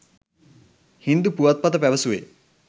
හින්දු පුවත්පත පැවසුවේ